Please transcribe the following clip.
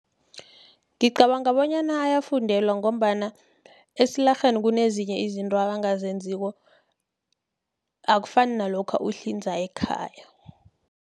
Ngicabanga bonyana ayafundelwa, ngombana esilarheni kunezinye izinto abangazenziko, akufani nalokha uhlinza ekhaya.